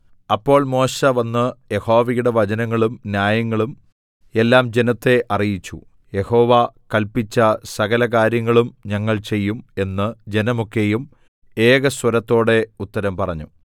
അപ്പോൾ മോശെ വന്ന് യഹോവയുടെ വചനങ്ങളും ന്യായങ്ങളും എല്ലാം ജനത്തെ അറിയിച്ചു യഹോവ കല്പിച്ച സകല കാര്യങ്ങളും ഞങ്ങൾ ചെയ്യും എന്ന് ജനമൊക്കെയും ഏകസ്വരത്തോടെ ഉത്തരം പറഞ്ഞു